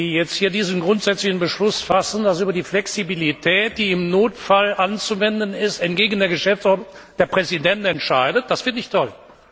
Wenn Sie jetzt hier diesen grundsätzlichen Beschluss fassen, dass über die Flexibilität, die im Notfall anzuwenden ist, entgegen der Geschäftsordnung der Präsident entscheidet. Das finde ich toll!